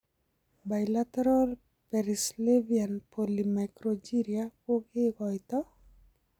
Bilateral perisylvanian polymicrogyria kokekoitoo?